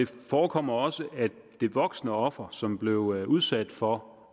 forekommer også at det voksne offer som blev udsat for